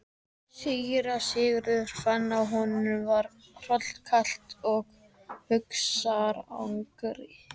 Síra Sigurður fann að honum var hrollkalt af hugarangri.